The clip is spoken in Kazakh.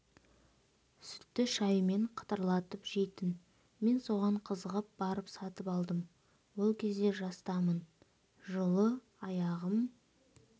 сүтті шаймен қытырлатып жейтін мен соған қызығып барып сатып алдым ол кезде жастамын жылы аяғым